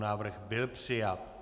Návrh byl přijat.